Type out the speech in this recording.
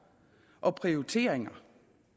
og prioriteringer